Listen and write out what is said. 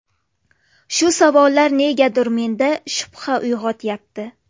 Shu savollar negadir menda shubha uyg‘otyapti.